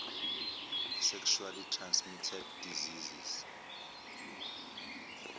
sexually transmitted diseases